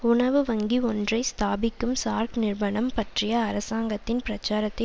உணவு வங்கி ஒன்றை ஸ்தாபிக்கும் சார் நிர்மனம் பற்றிய அரசாங்கத்தின் பிரச்சாரத்தை